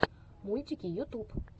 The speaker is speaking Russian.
мультики ютуб